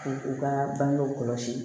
K'u ka bangew kɔlɔsi